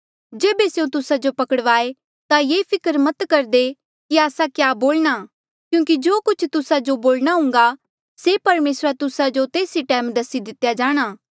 जेबे स्यों तुस्सा जो पकड़वाये ता ये फिकर मत करदे कि आस्सा क्या होर क्या बोलणा क्यूंकि जो कुछ तुस्सा जो बोलणा हुन्घा से परमेसरा तुस्सा जो तेस ई टैम दसी दितेया जाणा